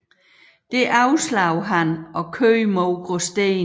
Det afslog han og kørte mod Gråsten